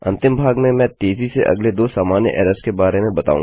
अंतिम भाग में मैं तेज़ी से अगले दो सामान्य एरर्स के बारे में बताऊँगा